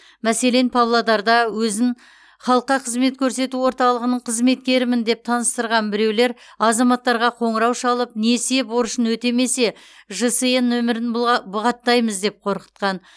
мәселен павлодарда өзін халыққа қызмет көрсету орталығының қызметкерімін деп таныстырған біреулер азаматтарға қоңырау шалып несие борышын өтемесе жсн нөмірін бұғаттаймыз деп қорқытқан